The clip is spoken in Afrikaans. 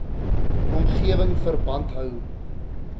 omgewing verband hou